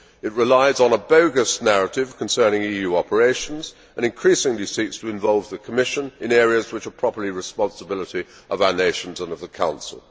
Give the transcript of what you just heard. It relies on a bogus narrative concerning EU operations and increasingly seeks to involve the Commission in areas which are properly the responsibility of our nations and of the Council.